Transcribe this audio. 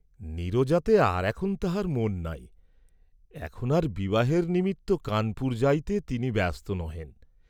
নীরজাতে আর এখন তাঁহার মন নাই, এখন আর বিবাহের নিমিত্ত কানপুর যাইতে তিনি ব্যস্ত নহেন।